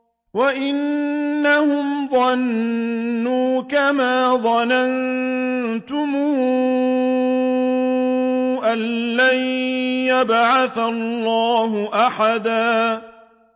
وَأَنَّهُمْ ظَنُّوا كَمَا ظَنَنتُمْ أَن لَّن يَبْعَثَ اللَّهُ أَحَدًا